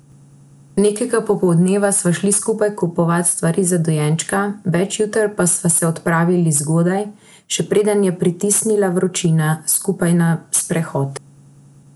Nekega popoldneva sva šli skupaj kupovat stvari za dojenčka, več juter pa sva se odpravili zgodaj, še preden je pritisnila vročina, skupaj na sprehod.